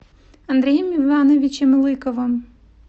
андреем ивановичем лыковым